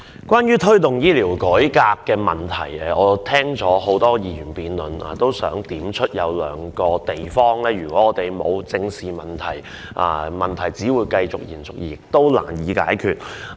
關於"推動醫療改革"的議案，我聽了很多議員的發言，我也想點出兩個問題，因為我們不正視問題，問題只會延續，而且難以解決。